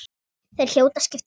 Þeir hljóta að skipta máli.